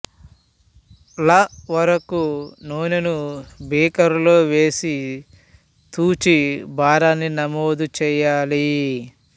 ల వరకు నూనెను బీకరులో వేసి తూచి భారాన్ని నమోదు చెయ్యాలి